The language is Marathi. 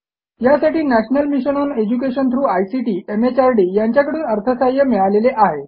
यासाठी national mission on education through ICT MHRD यांच्याकडून अर्थसहाय्य मिळालेले आहे